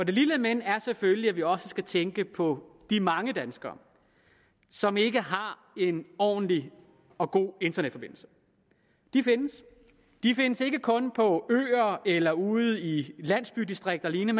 det lille men er selvfølgelig at vi også skal tænke på de mange danskere som ikke har en ordentlig og god internetforbindelse de findes de findes ikke kun på øer eller ude i landdistrikterne